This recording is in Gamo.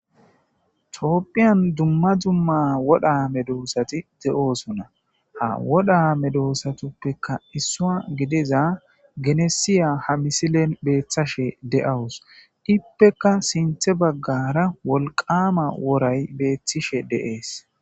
Tophiyan duma duma wora medosati beetosona. Ha wora medosatappe issuwa gidida genesiya ha misilen beetashe dawus. Ippeka sintha bagara wolqama woray beetishe de'es.